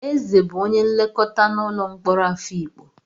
Eze bụ onye nlekọta n'ụlọ mkpọrọ Afikpo.